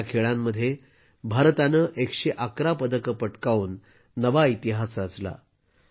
या खेळांमध्ये भारताने 111 पदके पटकावून नवा इतिहास रचला आहे